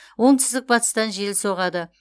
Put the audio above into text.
оңтүстік батыстан жел соғады